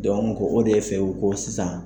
o de fɛ u ko sisan.